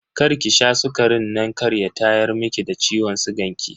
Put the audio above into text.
Karki sha sukarin nan kar ya tayar miki da ciwon sigan ki.